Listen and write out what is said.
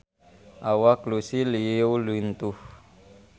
Awak Lucy Liu lintuh